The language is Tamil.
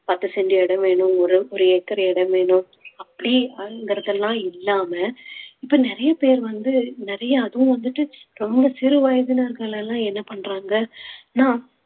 பத்து cent இடம் வேணும் ஒரு ஒரு acre இடம் வேணும் அப்டிங்கறதுலா இல்லாம இப்ப நிறைய பேர் வந்து நிறைய அதுவும் வந்துட்டு ரொம்ப சிறு வயதினர்கள் எல்லாம் என்ன பண்றாங்கன்னா